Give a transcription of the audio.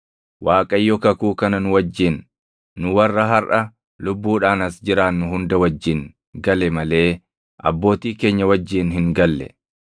Waaqayyo kakuu kana nu wajjin, nu warra harʼa lubbuudhaan as jiraannu hunda wajjin gale malee abbootii keenya wajjin hin galle.